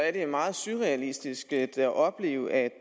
er det meget surrealistisk at opleve at